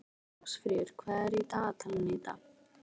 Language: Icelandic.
Ásfríður, hvað er í dagatalinu í dag?